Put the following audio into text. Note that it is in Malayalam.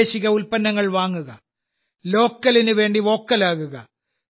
പ്രാദേശിക ഉൽപ്പന്നങ്ങൾ വാങ്ങുക ലോക്കലിനു വേണ്ടി വോക്കൽ ആകുക